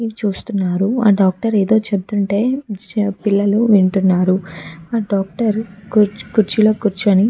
ఈ చూస్తునారు ఆ డాక్టర్ ఏదో చెపుతుంటే ఆ పిల్లలు వింటున్నారు. ఆ డాక్టర్ కుర్చీలో కూర్చొని --